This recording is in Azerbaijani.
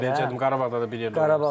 Mən onu deyəcəkdim, Qarabağda da bir yerdə.